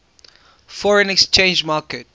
foreign exchange market